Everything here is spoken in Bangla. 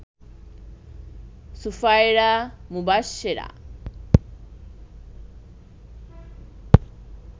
সুফায়রা, মুবাশ্বেরা